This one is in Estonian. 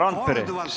Härra Randpere!